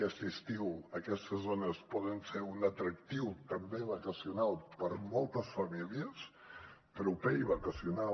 aquest estiu aquestes zones poden ser un atractiu també vacacional per a moltes famílies proper i vacacional